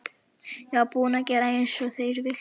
Ég var búin að gera eins og þeir vildu.